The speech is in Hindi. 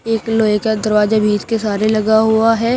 एक लोहे का दरवाजा भी इसके सहारे लगा हुआ है।